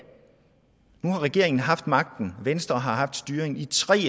nu har regeringen haft magten venstre har haft styringen i tre